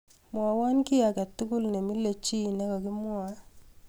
mwowon kiiy agetugul nemile chii negigagemwae